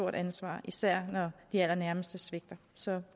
ansvar især når de allernærmeste svigter så